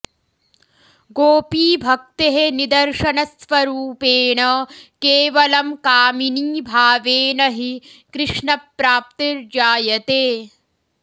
गोपीभक्तेः निदर्शन स्वरूपेण केवलं कामिनी भावेन हि कृष्णप्राप्तिर्जायते